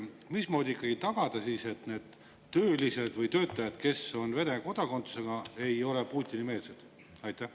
Mismoodi siis ikkagi tagada, et need töölised või töötajad, kes on Vene kodakondsusega, ei ole Putini-meelsed?